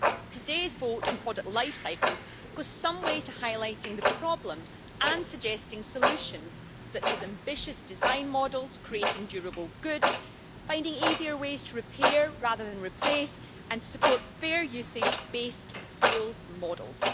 Today's vote on product life cycles go some way to highlighting the problem and suggesting solutions such as ambitious design models, creating durable goods, finding easier ways to repair rather than replace, and supporting fair usage based sales models.